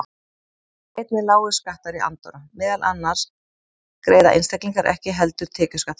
Þá eru einnig lágir skattar í Andorra, meðal annars greiða einstaklingar ekki heldur tekjuskatt þar.